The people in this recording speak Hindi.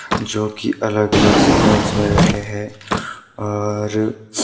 जो की अलग अलग सीक्वेंस में रखे हैं और--